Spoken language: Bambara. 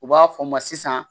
U b'a fɔ n ma sisan